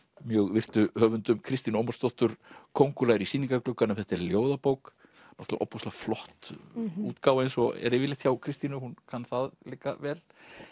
mjög virtu höfundum Kristínu Ómarsdóttur köngulær í sýningargluggum þetta er ljóðabók náttúrulega ofboðslega flott útgáfa eins og er yfirleitt hjá Kristínu hún kann það líka vel